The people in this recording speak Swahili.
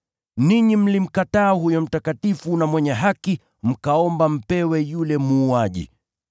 Ninyi mlimkataa huyo Mtakatifu na Mwenye Haki mkaomba mpewe yule muuaji.